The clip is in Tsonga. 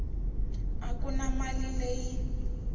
a ku na mali leyi